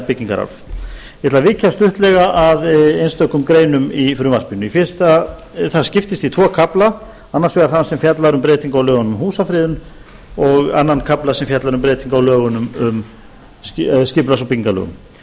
byggingararf ég ætla að víkja stuttlega að einstökum greinum í frumvarpinu það skiptist í tvo kafla annars vegar þann sem fjallar um breytingu á lögunum um húsafriðun og annan kafla sem fjallar um breytingu á skipulags og byggingarlögum